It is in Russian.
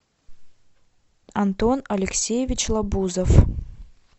антон алексеевич лабузов